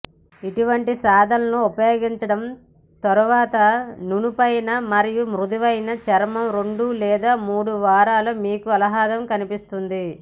ఇటువంటి సాధనాలు ఉపయోగించడం తరువాత నునుపైన మరియు మృదువైన చర్మం రెండు లేదా మూడు వారాల మీకు ఆహ్లాదం కనిపిస్తుంది